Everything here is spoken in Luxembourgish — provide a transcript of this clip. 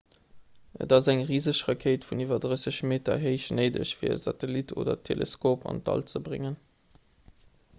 et ass eng riseg rakéit vun iwwer 30 meter héich néideg fir e satellit oder teleskop an d'all ze bréngen